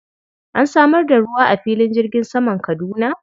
An samar da ruwa a filin jirgin saman Kaduna?